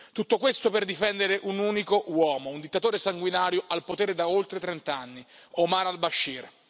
Tutto questo per difendere un unico uomo, un dittatore sanguinario, al potere da oltre trent'anni, Omar al Bashir.